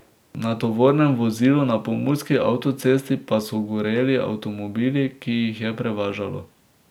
Na tovornem vozilu na pomurski avtocesti pa so goreli avtomobili, ki jih je prevažalo.